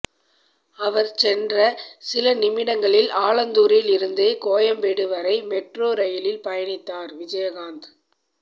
அவர் சென்ற சில நிமிடங்களில் ஆலந்தூரில் இருந்து கோயம்பேடு வரை மெட்ரோ ரயிலில் பயணித்தார் விஜயகாந்த்